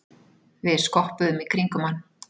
Við skoppuðum í kringum hann.